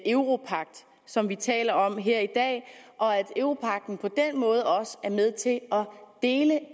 europagt som vi taler om her i dag og at europagten på den måde også er med til at dele